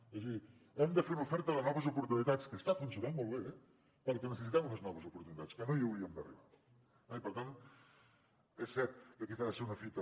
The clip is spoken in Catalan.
és a dir hem de fer una oferta de noves oportunitats que està funcionant molt bé perquè necessitem unes noves oportunitats que no hi hauríem d’arribar eh per tant és cert que aquesta ha de ser una fita